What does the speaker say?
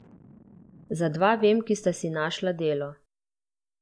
Za dva vem, ki sta si našla delo.